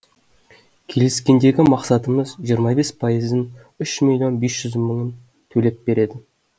келіскендегі мақсатымыз жиырма бес пайызын үш миллион бес жүз мыңын төлеп береді